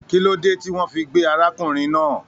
Kí ló dé tí wọn fí gbé arákùnrin náà?